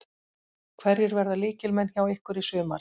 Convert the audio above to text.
Hverjir verða lykilmenn hjá ykkur í sumar?